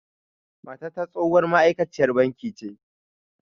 Matata tsohuwar ma'aikaciyar banki ce